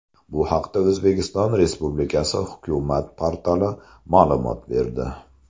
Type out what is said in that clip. Bu haqda O‘zbekiston Respublikasi hukumat portali ma’lumot berdi .